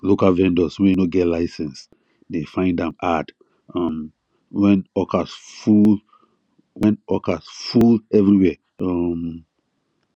local vendors wey no get license dey find am hard um when hawkers full when hawkers full everywhere um